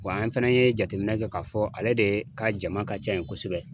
Wa an fɛnɛ ye jateminɛ kɛ k'a fɔ ale de ka jama ka ca yen kosɛbɛ.